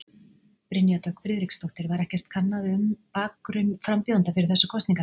Brynja Dögg Friðriksdóttir: Var ekkert kannað um um bakgrunn frambjóðenda fyrir þessar kosningar?